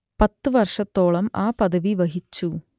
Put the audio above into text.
പത്തു വർഷത്തോളം ആ പദവി വഹിച്ചു